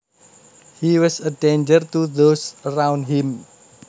He was a danger to those around him